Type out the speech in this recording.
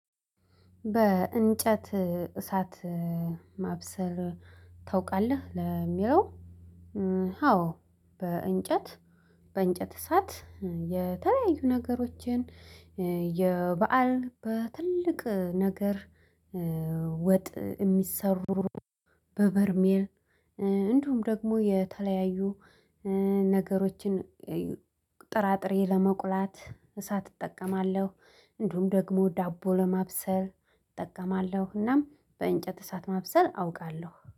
በእንጨት እሳት ማብሰር ታውቃለህ ለሚለው? አዎ በእንጨት በእንጨት እሳት የተለያዩ ነገሮችን የበአል በትልቅ ነገር ወጥ የሚሰሩ በበርሜል እንዲሁም ደግሞ የተለያዩ ነገሮችን። ጥራጥሬ ለመቁላት እሳት እጠቀማለሁ እንዲሁም ደግሞ ዳቦ ለማብሰል እጠቀማለሁ። እናም በእንጨት እሳት ማብሰል አውቃለሁ